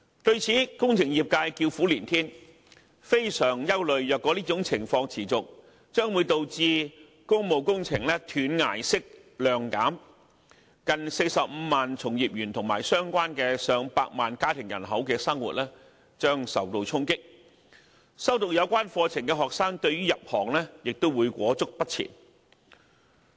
對此，工程業界叫苦連天，非常憂慮如果這種情況持續，將會導致工務工程"斷崖式"量減，令近45萬名從業員及相關的上百萬家庭人口的生活受到衝擊，修讀有關課程的學生對於入行亦會裹足不前。